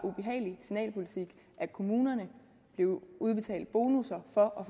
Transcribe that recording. ubehagelig signalpolitik at kommunerne blev udbetalt bonusser for at